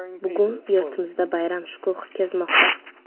Bugun yurtimizda bayram shukuhi kezmoqda.